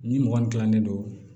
Ni mɔgɔ min dilannen don